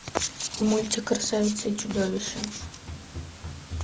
мультик красавица и чудовище